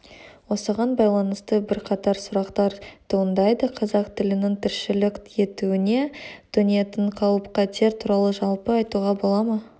осыған байланысты бірқатар сұрақтар туындайды қазақ тілінің тіршілік етуіне төнетін қауіп-қатер туралы жалпы айтуға бола ма